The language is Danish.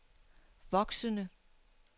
voksende